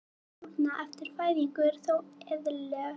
Ævilíkur þessara stúlkna eftir fæðingu eru þó eðlilegar.